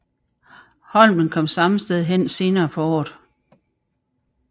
Holmen kom samme sted hen senere på året